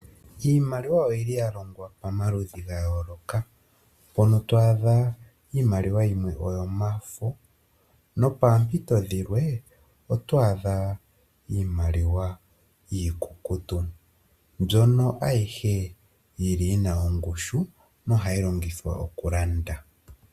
Iimaliwa oyili ya longwa pamaludhi ga yooloka. Mpono to adha iimaliwa yimwe yomafo nopoompito dhilwe oto adha iimaliwa iikukutu. Mbyono ayihe yili yina ongushu nohayi longithwa okulanda.